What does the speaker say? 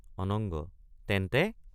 অনঙ্গ—তেন্তে।